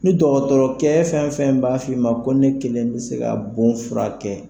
Ni dɔgɔtɔrɔkɛ fɛn fɛn b'a f'i ma ko ne kelen bɛ se ka bon furakɛ.